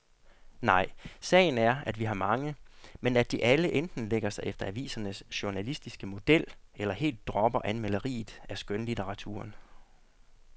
Nej, sagen er, at vi har mange, men at de alle enten lægger sig efter avisernes journalistiske model eller helt dropper anmelderiet af skønlitteraturen.